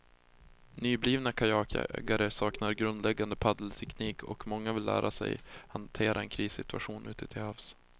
Nyblivna kajakägare saknar grundläggande paddelteknik och många vill lära sig att hantera en krissituation ute till havs.